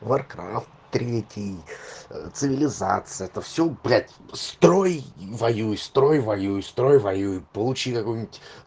варкрафт третий цивилизация это все блять строй и воюй строй и воюй получи какую-нибудь